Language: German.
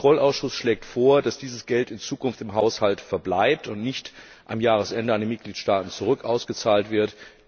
Der Haushaltskontrollausschuss schlägt vor, dass dieses Geld in Zukunft im Haushalt verbleibt und nicht am Jahresende wieder an die Mitgliedstaaten ausgezahlt wird.